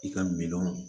I ka miliyɔn